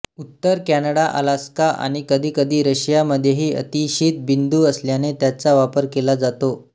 उत्तर Canada Alaska आणि कधीकधी रशियामध्येही अतिशीत बिंदू असल्याने त्याचा वापर केला जातो